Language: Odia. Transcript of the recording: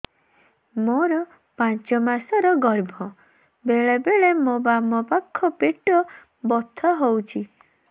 ମୋର ପାଞ୍ଚ ମାସ ର ଗର୍ଭ ବେଳେ ବେଳେ ମୋ ବାମ ପାଖ ପେଟ ବଥା ହଉଛି